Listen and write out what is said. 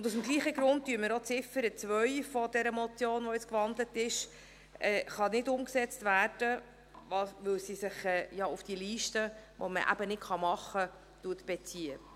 Aus demselben Grund kann auch die Ziffer 2 dieser gewandelten Motion nicht umgesetzt werden, da sie sich auf diese Liste, die man nicht erstellen kann, bezieht.